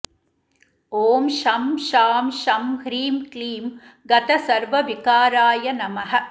ॐ शं शां षं ह्रीं क्लीं गतसर्वविकाराय नमः